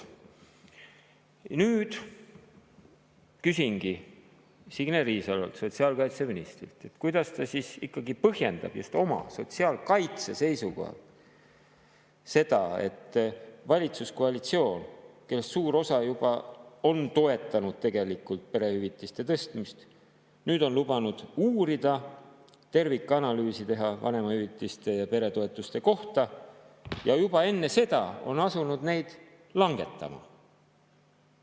Nüüd küsingi Signe Riisalolt, sotsiaalkaitseministrilt, kuidas ta ikkagi põhjendab just sotsiaalkaitse seisukohalt seda, et valitsuskoalitsioon, kellest suur osa tegelikult juba on toetanud perehüvitiste tõstmist, nüüd on lubanud uurida, tervikanalüüsi teha vanemahüvitiste ja peretoetuste kohta, aga juba enne seda on asunud langetama.